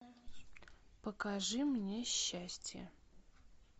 покажи мне счастье